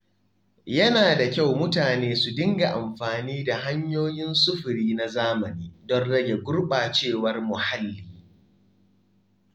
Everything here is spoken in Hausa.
Yana da kyau mutane su dinga amfani da hanyoyin sufuri na zamani don rage gurɓacewar muhalli.